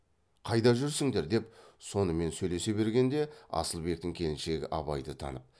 қайда жүрсіңдер деп сонымен сөйлесе бергенде асылбектің келіншегі абайды танып